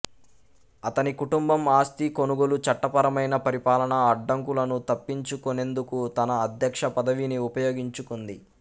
అతని కుటుంబం ఆస్తి కొనుగోలు చట్టపరమైన పరిపాలనా అడ్డంకులను తప్పించుకునేందుకు తన అధ్యక్ష పదవిని ఉపయోగించుకుంది